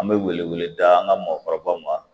An bɛ wele wele daga mɔgɔkɔrɔbaw ma